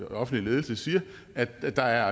offentlige ledelse siger at der